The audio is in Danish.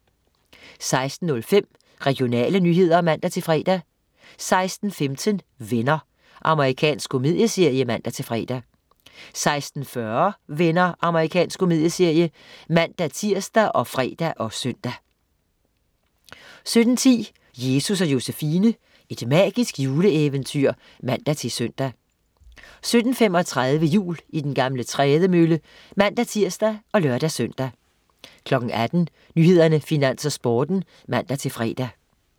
16.05 Regionale nyheder (man-fre) 16.15 Venner. Amerikansk komedieserie (man-fre) 16.40 Venner. Amerikansk komedieserie (man-tirs og fre og søn) 17.10 Jesus & Josefine. Et magisk juleeventyr (man-søn) 17.35 Jul i den gamle trædemølle (man-tirs og lør-søn) 18.00 Nyhederne, Finans og Sporten (man-fre)